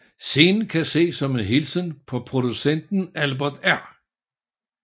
Scenen kan ses som en hilsen fra producenten Albert R